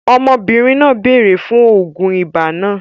Ọmọbìnrin náà béèrè fún oògùn ibà náà